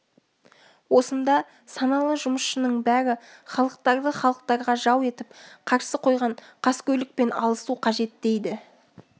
осында саналы жұмысшының бәрі халықтарды халықтарға жау етіп қарсы қойған қаскөйлікпен алысу қажет дейді